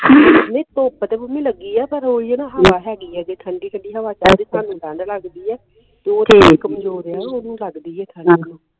ਨਹੀਂ ਧੁੱਪ ਤੇ ਮੰਮੀ ਲਗੀ ਆ ਪਰ ਓਹੀ ਹੈ ਨਾ ਹਵਾ ਹੈਗੀ ਹੈ ਹਾਜੀ ਠੰਡੀ ਠੰਡੀ ਹਵਾ ਚਲਦੀ ਸਾਨੂ ਠੰਡ ਲਗਦੀ ਹੈ ਫੇਰ ਓਹਦੇ ਨਾ ਓਹਨੂੰ ਲਗਦੀ ਹੈ ਠੰਡ ਨੂਰ ਨੂੰ